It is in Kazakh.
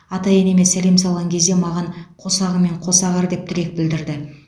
ата енеме сәлем салған кезде маған қосағыңмен қоса ағар деп тілек білдірді